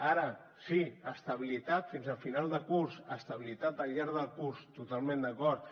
ara sí estabilitat fins al final de curs estabilitat al llarg del curs totalment d’acord